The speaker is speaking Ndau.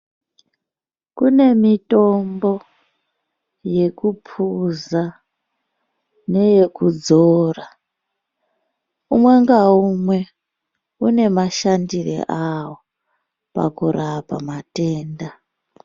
Kune mitombo yekuphuza, neyokudzora. Umwe naumwe une mashandiro awo, pakurapa matenda.